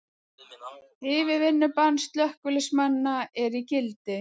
Yfirvinnubann slökkviliðsmanna er í gildi